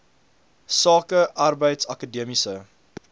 sake arbeids akademiese